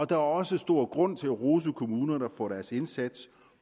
der er også stor grund til at rose kommunerne for deres indsats